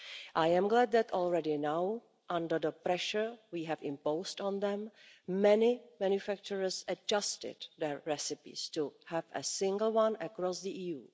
I am glad that already now, under the pressure we have imposed on them, many manufacturers have adjusted their recipes to have a single one across the